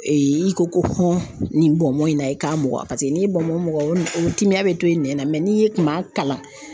i ko ko hɔn nin bɔnbɔn na i k'a mɔgɔ paseke n'i ye bɔnbɔn muga o timiya bi to i nɛn na mɛ n'i kun m'a kalan